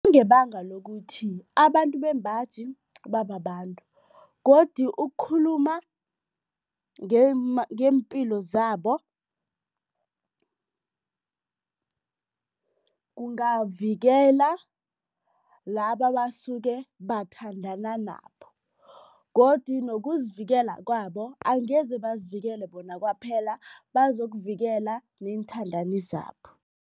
Ngebanga lokuthi abantu bembaji bababantu godu ukukhuluma ngeempilo zabo kungavikela laba abasuke bathandana nabo godi nokuzivikela kwabo angeze bazivikele bona kwaphela, bazokuvikela neenthandani zabo.